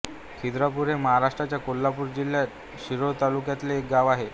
खिद्रापूर हे महाराष्ट्राच्या कोल्हापूर जिल्ह्याच्या शिरोळ तालुक्यातले एक गाव आहे